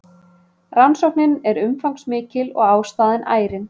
Rannsóknin er umfangsmikil og ástæðan ærin